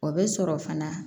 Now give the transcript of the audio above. O bɛ sɔrɔ fana